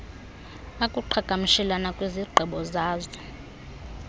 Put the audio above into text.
akuqhagamshela kwizigqibo zazo